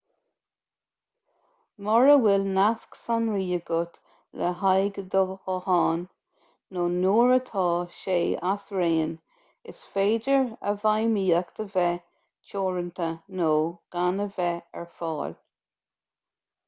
mura bhfuil nasc sonraí agat le haghaidh do ghutháin nó nuair atá sé as raon is féidir a bhfeidhmíocht a bheith teoranta nó gan a bheith ar fáil